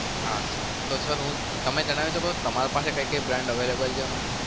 હા sir તમે જણાવી શકો તમારા પાસે કઈ કઈ brand available છે હમણાં?